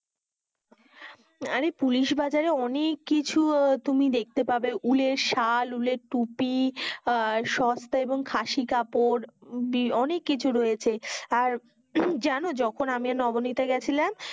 আরে পুলিশ বাজারে অনেক কিছু তুমি দেখতে পাবে, উলের সাল, উলের তুপি, আর সস্তা এবং খাসি কাপড় অনেক কিছু রয়েছে আর জানো যখন আমি আর নবনীতা গেছিলাম